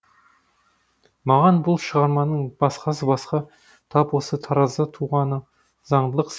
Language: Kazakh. маған бұл шығарманың басқасы басқа тап осы таразда туғаны заңдылық